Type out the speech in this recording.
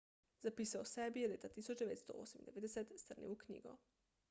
zapise o sebi je leta 1998 strnil v knjigo